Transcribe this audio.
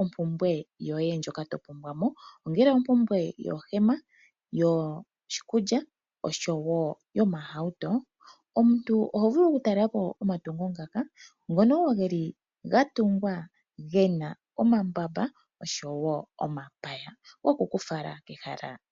ompumbwe yoye ndjoka to pumbwa mo, ongele ompumbwe yoohema, yoshikulya noshowo yomahauto. Omuntu oho vulu okutalela po omatungo ngaka ngono wo ge li ga tungwa ge na omambamba noshowo omapaya goku ku fala kehala limwe.